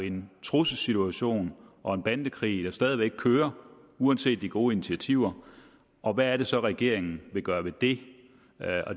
en trusselssituation og en bandekrig der stadig væk kører uanset de gode initiativer og hvad er det så regeringen vil gøre ved det